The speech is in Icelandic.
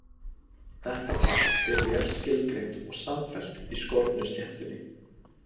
Þetta fall er vel skilgreint og samfellt í skornu sléttunni.